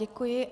Děkuji.